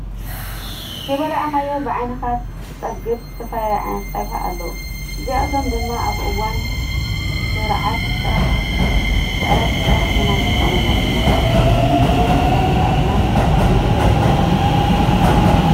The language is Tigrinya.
ከይበላካዮ ብዓይንካ ትፀግብ ዝተፈላለዩ ዓይነታት ፀብሒ ኣለው። እዚኣቶም ድማ ኣብእዋን ስዕረት ጥራሕ ኢና ክንጥቀመሎም እንኽእል። ኩሉ ግዜ ስጋ ምብላዕ ግና ዘይተደለየ ርጉዲ ከምፀእ ይክእል እዩ።